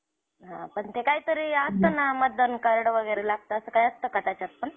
रत्नागिरी, गणपतीपुळे ऐकलं असशील की.